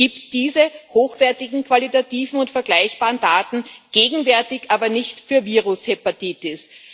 Es gibt diese hochwertigen qualitativen und vergleichbaren Daten gegenwärtig aber nicht für Virushepatitis.